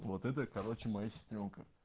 вот это короче моя сестрёнка